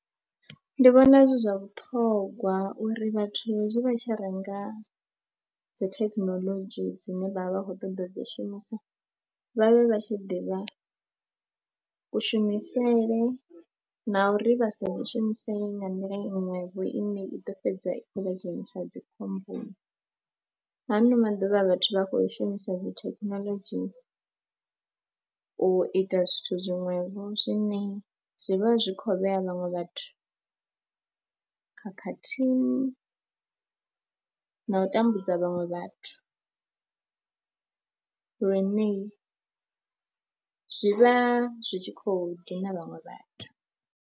Ndi vhona zwi zwa vhuṱhongwa uri vhathu hezwi vha tshi renga dzi thekhinolodzhi dzine vha vha vha khou ṱoḓa dzi shumisa vha vhe vha tshi ḓivha kushumisele na uri vha sa dzi shumisesi nga nḓila iṅwevho ine i ḓo fhedza i khou vha dzhenisa dzi khomboni. Ha ano maḓuvha vhathu vha khou shumisa dzi thekhinolodzhi u ita zwithu zwiṅwevho zwine zwi vha zwi khou vhea vhaṅwe vhathu khakhathini na u tambudza vhaṅwe vhathu lune zwi vha zwi tshi khou dina vhaṅwe vhathu.